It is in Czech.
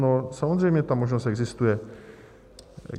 No samozřejmě ta možnost existuje.